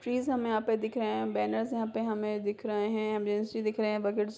trees हमे यहां पर दिख रहे है बैनर्स यहां पे दिख रहे दिख रहे है --